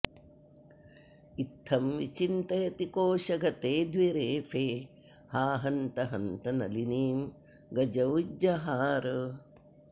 इत्थं विचिन्तयति कोषगते द्विरेफ़े हा हन्त हन्त नलिनिं गज उज्जहार